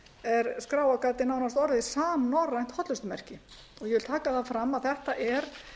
er skráargatið nánast orðið samnorrænt hollustumerki og ég vil taka fram að þetta er